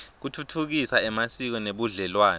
kutfutfukisa emasiko nebudlelwane